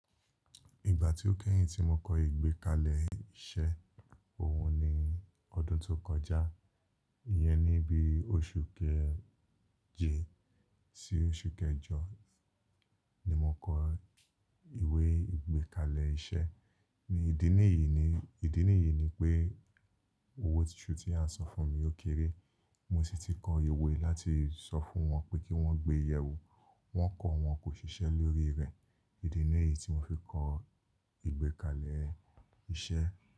Ìgbà tí ó kẹ́yìn tí mo kọ ìgbékalẹ̀ iṣẹ́, òun ni ọdún tó kọjá. Iyẹn ní bí oṣù kẹjì sí oṣù kẹjọ ni mo kọ ìwé ìgbékalẹ̀ iṣẹ́. Ni ìdí nìyí ni, ìdí nìyí ni pé owó tuntun tí a san fún mi ó kéré. Mo sì ti kọ ìwé láti sọ fún wọn pé kí wọ́n gbé yẹ wò. Wọ́n kọ̀, wọn kò ṣiṣẹ́ lórí rẹ̀. Ìdí nìyí tí mo fi kọ ìgbékalẹ̀ iṣẹ́.